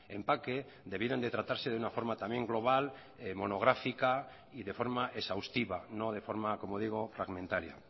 empaque debieran de tratarse de una forma también global monográfica y de forma exhaustiva no de forma como digo fragmentaria